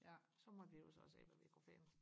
ja så måtte vi jo så se hvad vi kunne finde